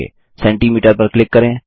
centimetre पर click करें